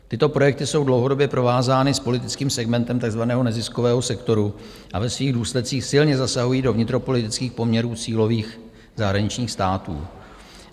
Tyto projekty jsou dlouhodobě provázány s politickým segmentem takzvaného neziskového sektoru a ve svých důsledcích silně zasahují do vnitropolitických poměrů cílových zahraničních států.